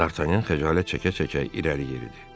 Dartanyan xəcalət çəkə-çəkə irəli yeridi.